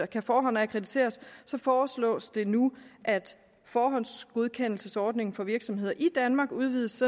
kan forhåndsakkrediteres foreslås det nu at forhåndsgodkendelsesordningen for virksomheder i danmark udvides